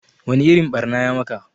Wa ni irin ɓarna ya maka?